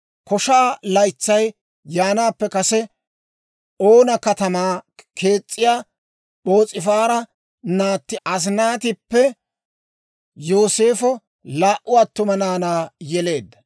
Koshaa laytsay yaanaappe kase, Oona katamaa k'eesiyaa P'oos'ifaara naatti Asinaatippe Yooseefo laa"u attuma naanaa yeleedda.